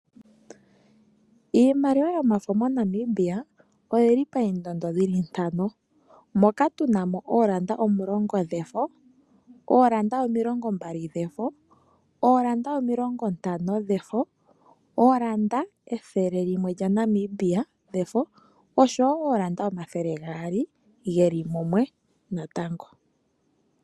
Iimaliwa yomafo moNamibia oyili poondondo dhili ntano, moka tuna mo ooranda dhili omulongo dhefo, ooranda omilongo mbali dhefo, ooranda omilongo ntano dhefo, ooranda ethele limwe lyaNamibia dhefo osho woo ooranda omathele geli gaali geli mumwe natango.